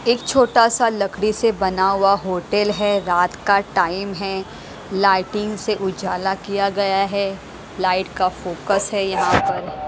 एक छोटा-सा लकड़ी से बना हुआ होटल है रात का टाइम है लाइटिंग से उजाला किया गया है लाइट का फोकस है यहाँ पर।